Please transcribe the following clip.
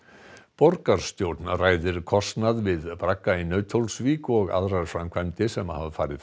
borgarstjórn ræðir kostnað við bragga í Nauthólsvík og aðrar framkvæmdir sem farið